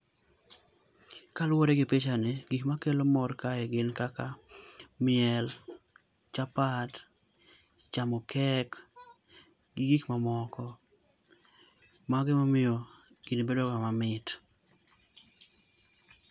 Ka luore gi picha ni gik ma kelo mor gin kaka miel, chapat, chamo kek gi gik ma moko mago emomiyo gini bedo mamit.